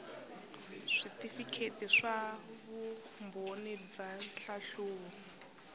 switifikheti swa vumbhoni bya nhlahluvo